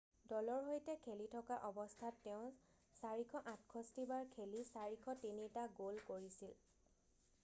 দলৰ সৈতে খেলি থকা অৱস্থাত তেওঁ 468 বাৰ খেলি 403 টা গ'ল কৰিছিল